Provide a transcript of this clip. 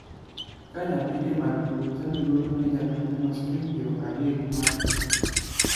Ka nyathi ema tuo to chadi golo ne jakanyono siling piero adek mar thieth.